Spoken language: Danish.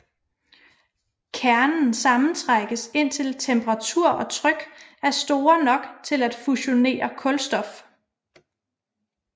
Kernen sammentrækkes indtil temperatur og tryk er store nok til at fusionere kulstof